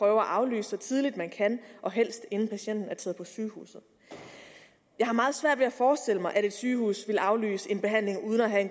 at aflyse så tidligt man kan og helst inden patienten er taget på sygehuset jeg har meget svært ved at forestille mig at et sygehus vil aflyse en behandling uden